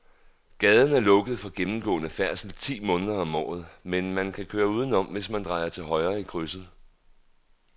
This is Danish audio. Gaden er lukket for gennemgående færdsel ti måneder om året, men man kan køre udenom, hvis man drejer til højre i krydset.